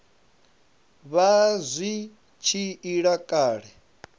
vha zwi tshi ila kale